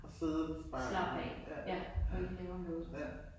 Og sidde bare ja. Ja. Ja